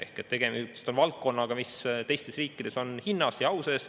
Ehk siis tegemist on valdkonnaga, mis teistes riikides on hinnas ja au sees.